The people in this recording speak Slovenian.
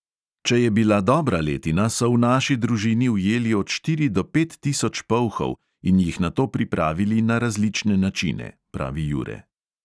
"Če je bila dobra letina, so v naši družini ujeli od štiri do pet tisoč polhov in jih nato pripravili na različne načine," pravi jure.